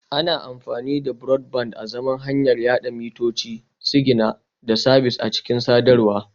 Ana amfani da Broadband azaman hanyar yada mitoci, sigina da sabis a cikin sadarwa